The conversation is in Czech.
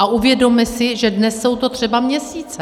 A uvědomme si, že dnes jsou to třeba měsíce.